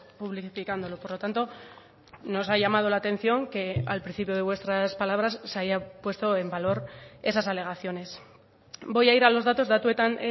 publicicándolo por lo tanto nos ha llamado la atención que al principio de vuestras palabras se haya puesto en valor esas alegaciones voy a ir a los datos datuetan